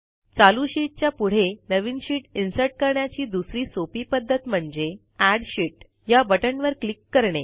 चालू शीटच्या पुढे नवीन शीट इन्सर्ट करण्याची दुसरी सोपी पध्दत म्हणजे एड शीत या बटणवर क्लिक करणे